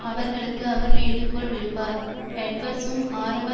அவர்களுக்கு அவர் வேண்டுகோள் விடுப்பார் எட்வர்ட்சும் ஆரம்ப